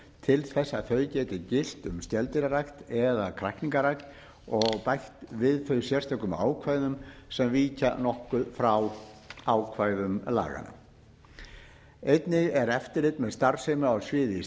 til þess að þau geti gilt um skeldýrarækt eða kræklingarækt og bætt við þau sérstökum ákvæðum sem víkja nokkuð frá ákvæðum laganna einnig er eftirlit með starfsemi á sviði